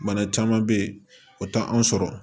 Bana caman bɛ yen o tɛ an sɔrɔ